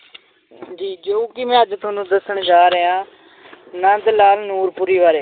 ਜੀ ਜੋ ਕਿ ਮੈਂ ਅੱਜ ਤੁਹਾਨੂੰ ਦੱਸਣ ਜਾ ਰਿਹਾਂ ਨੰਦ ਲਾਲ ਨੂਰਪੁਰੀ ਬਾਰੇ।